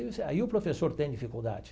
Aí o professor tem dificuldade.